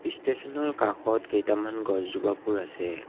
Station ৰ কাষত কেইটামান গছজোপাবোৰ আছে।